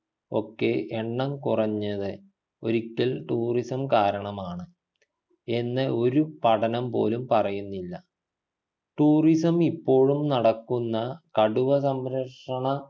ഒക്കെ എണ്ണം കുറഞ്ഞത് ഒരിക്കൽ tourism കാരണമാണ് എന്ന് ഒരു പഠനം പോലും പറയുന്നില്ല tourism ഇപ്പോഴും നടക്കുന്ന കടുവ സംരക്ഷണ